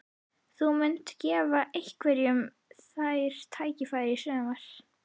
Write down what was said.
Þú munt gefa einhverjum þeirra tækifæri í sumar?